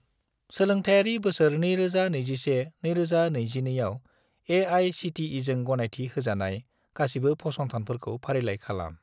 सोलोंथायरि बोसोर 2021 - 2022 आव ए.आइ.सि.टि.इ.जों गनायथि होजानाय गासिबो फसंथानफोरखौ फारिलाइ खालाम।